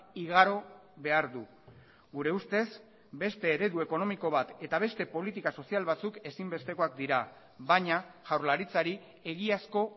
igaro behar du gure ustez beste eredu ekonomiko bat eta beste politika sozial batzuk ezinbestekoak dira baina jaurlaritzari egiazko